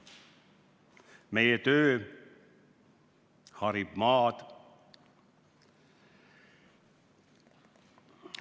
Meie töö harib maad ..